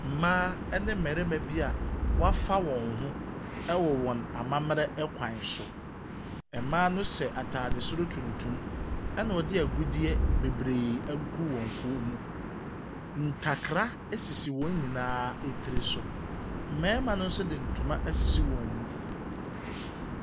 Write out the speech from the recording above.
Mmaa ne mmarima bi a wɔafa wɔn ho wɔ ammamere kwan so. Mmaa hyɛ ataadeɛ tuntum na wɔde agudeɛ agugu wɔn koom. Ntakra sisi wɔn nyinaa ti so. Mmarima no nso de ntoma asisi wɔ mu.